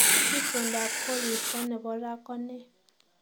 Itondap koristo nebo raa ko ne